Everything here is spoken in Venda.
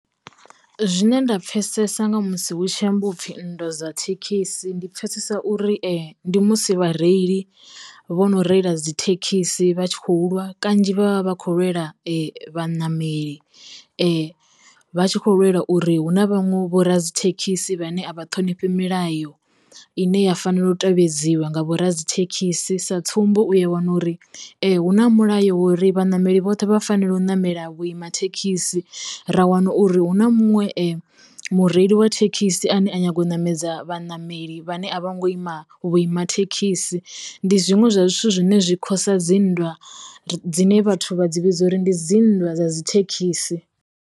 Zwine nda pfesesa nga musi hutshi ambiwa upfhi nndwa dza thekhisi, ndi pfesesa uri ndi musi vha reili vho no reila dzi thekhisi vha tshi khou lwa kanzhi vhavha vha kho lwela vhaṋameli, vha tshi kho lwela uri hu na vhaṅwe vho ra dzi thekhisi vhane a vha ṱhonifhi milayo ine ya fanela u tevhedzwa nga vho ra dzi thekhisi. Sa tsumbo, uya wana uri hu na mulayo ri vha ṋameli vhoṱhe vha fanela u namela vhuima thekhisi ra wana uri hu na munwe mureili wa thekhisi ane a nyaga u ṋamedza vha ṋameli vhane a vho ngo ima vhuima thekhisi, ndi zwiṅwe zwa zwithu zwine zwi khosa dzi nndwa dzine vhathu vha dzi vhidza uri ndi dzi nndwa dza dzi thekhisi.